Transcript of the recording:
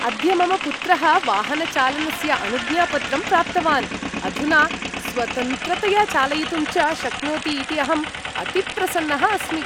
अद्य मम पुत्रः वाहनचालनस्य अनुज्ञापत्रं प्राप्तवान्, अधुना स्वतन्त्रतया चालयितुं च शक्नोति इति अहं अतिप्रसन्नः अस्मि ।